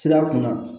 Sira kun kan